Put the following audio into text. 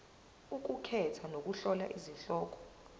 ukukhetha nokuhlola izihloko